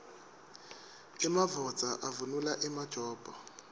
emadvodza avunula emajobo